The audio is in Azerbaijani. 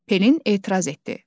Pelin etiraz etdi: